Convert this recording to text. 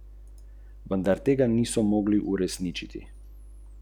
In njegovega očeta.